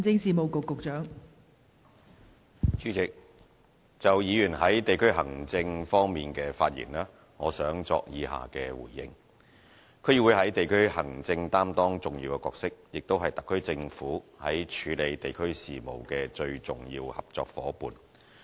代理主席，就議員在地區行政方面的發言，我想作以下回應：區議會在地區行政擔當重要角色，也是特區政府在處理地區事務的最重要合作夥伴。